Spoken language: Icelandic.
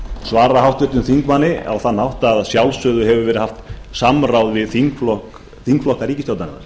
svara háttvirtum þingmanni á þann hátt að að sjálfsögðu hefur verið haft samráð við þingflokka ríkisstjórnarinnar